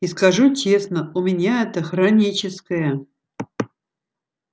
и скажу честно у меня это хроническое